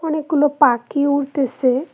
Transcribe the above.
অনেকগুলো পাখি উড়তেছে।